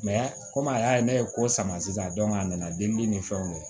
komi a y'a ye ne ye ko sama sisan a nana delili ni fɛnw de ye